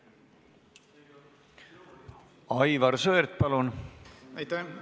Aivar Sõerd, palun!